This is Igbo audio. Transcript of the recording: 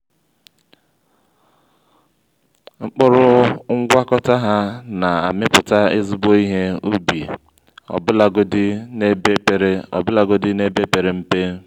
mkpụrụ ngwakọta ha na-amịpụta ezigbo ihe ubi ọbụlagodi n’ebe pere ọbụlagodi n’ebe pere mpe.